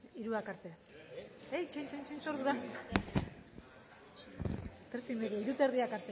hamabosthogeita hamarak